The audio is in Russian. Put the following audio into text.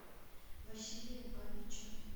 василия бабича